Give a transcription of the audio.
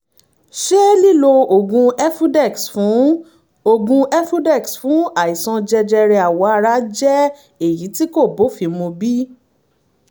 ṣé lílo oògùn efudex fún oògùn efudex fún àìsàn jẹjẹrẹ awọ ara jẹ́ èyí tí kò bófin mu bí?